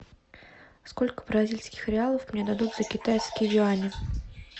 сколько бразильских реалов мне дадут за китайские юани